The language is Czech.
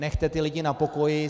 Nechte ty lidi na pokoji!